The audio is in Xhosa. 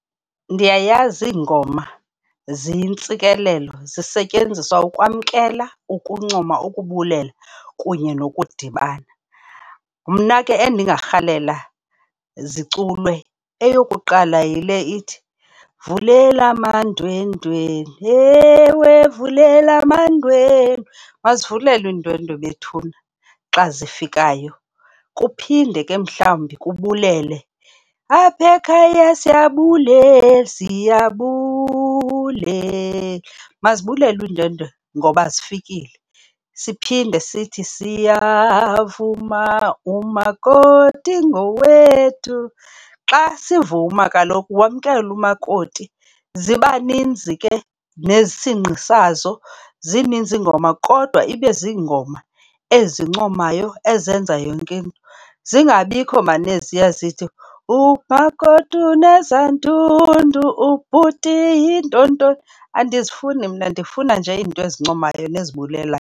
Ndiyayazi iingoma ziyintsikelelo. Zisetyenziswa ukwamkela, ukuncoma, ukubulela kunye nokudibana. Mna ke endingarhalela ziculwe eyokuqala yile ithi, vulela amandwendwe, ewe vulela amandwendwe. Mazivulelwe iindwendwe bethuna xa zifikayo. Kuphinde ke mhlawumbi kubulwelwe, apha ekhaya siyabulela, siyabulela. Mazibulelwe iindwendwe ngoba zifikile. Siphinde sithi, siyavuma, umakoti ngowethu. Xa sivuma kaloku wamkelwe umakoti. Ziba ninzi ke, nesingqi sazo. Zininzi iingoma kodwa ibe zingoma ezincomayo ezenza yonke into. Zingabikho maan eziya zithi, umakoti unezandundu, ubhuti yinto ntoni. Andizifuni mna ndifuna nje izinto ezincomayo nezibulelayo.